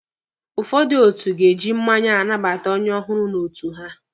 Ụfọdụ otu ga-eji mmanya anabata onye ọhụrụ n'otu ha.